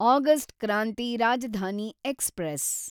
August Kranti Rajdhani express